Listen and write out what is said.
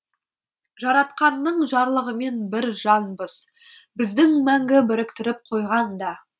жаратқанның жарлығымен бір жанбыз бізді мәңгі біріктіріп қойған да